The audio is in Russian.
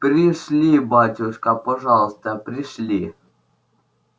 пришли батюшка пожалуйста пришли